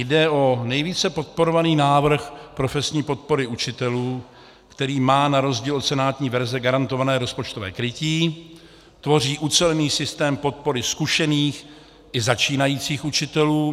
Jde o nejvíce podporovaný návrh profesní podpory učitelů, který má na rozdíl od senátní verze garantované rozpočtové krytí, tvoří ucelený systém podpory zkušených i začínajících učitelů.